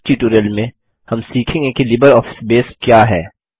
इस ट्यूटोरियल में हम सीखेंगे कि लिबरऑफिस बेस क्या है